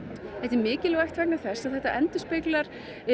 þetta er mikilvægt vegna þess að þetta endurspeglar